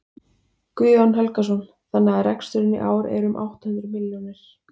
Guðjón Helgason: Þannig að reksturinn í ár er um átta hundruð milljónir?